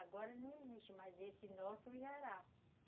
Agora não existe mais esse nosso Jará.